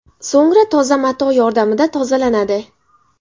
So‘ngra toza mato yordamida tozalanadi.